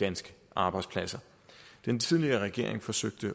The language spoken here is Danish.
danske arbejdspladser den tidligere regering forsøgte